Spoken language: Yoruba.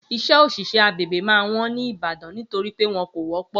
iṣẹ́ oṣiṣẹ agbègbè ma wón ní ìbàdàn nítorípé wọ́n kò wọ́ pọ̀